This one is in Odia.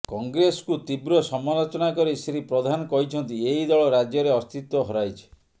କଂଗ୍ରେସକୁ ତୀବ୍ର ସମାଲୋଚନା କରି ଶ୍ରୀ ପ୍ରଧାନ କହିଛନ୍ତି ଏହି ଦଳ ରାଜ୍ୟରେ ଅସ୍ତିତ୍ୱ ହରାଇଛି